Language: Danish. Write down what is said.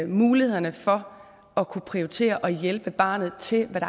mulighederne for at kunne prioritere og hjælpe barnet til hvad